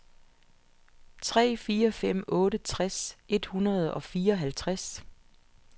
tre fire fem otte tres et hundrede og fireoghalvtreds